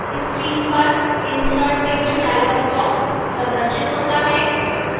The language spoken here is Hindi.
screen पर insert table dialog box प्रदर्शित होता है